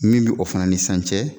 Min bi o fana ni san cɛ.